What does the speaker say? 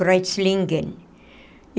Kreuzlingen.